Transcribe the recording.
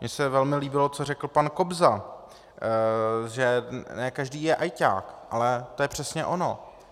Mně se velmi líbilo, co řekl pan Kobza, že ne každý je ajťák, ale to je přesně ono.